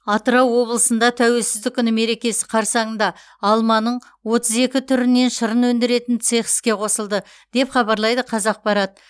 атырау облысында тәуелсіздік күні мерекесі қарсаңында алманың отыз екі түрінен шырын өндіретін цех іске қосылды деп хабарлайды қазақпарат